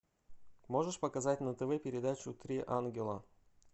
можешь показать на тв передачу три ангела